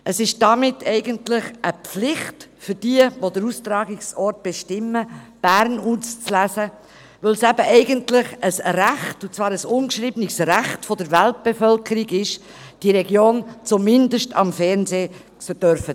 Damit ist es eigentlich eine Pflicht für jene, die den Austragungsort bestimmen, Bern zu wählen, weil es eben eigentlich ein Recht – und zwar ein ungeschriebenes Recht – der Weltbevölkerung ist, diese Region zumindest im Fernseher sehen zu dürfen.